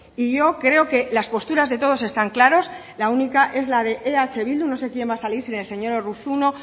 y yo creo que las posturas de todos están claros la única es la de eh bildu no sé quién va a salir si el señor urruzuno